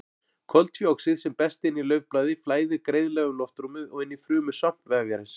Koltvíoxíð sem berst inn í laufblaði flæðir greiðlega um loftrúmið og inn í frumur svampvefjarins.